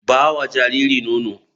Ba wa jariri nono.